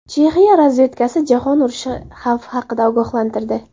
Chexiya razvedkasi jahon urushi xavfi haqida ogohlantirdi.